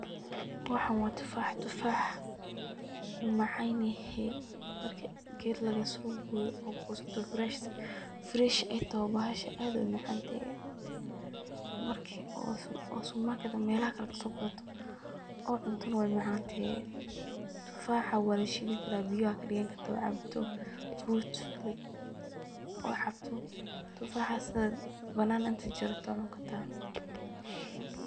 Waxan waa tufax, tufax wuu macaan yehe, marki ged lagasoo goyo oo goosato uu fresh ay toho bahash aad u umacaan yehe, markii oo supermarket ama melaha kale kasoo gadato oo cunto na way macaantehe, tufaxa waa lashiidi karaa biya wad kadhigani kartaa oo wad cabi karta, markad cabto fruit oo cabto, tufaxaas na banan inti jarto waa cuni kartaa